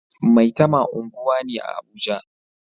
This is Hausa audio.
Maitama unguwa ne a Abuja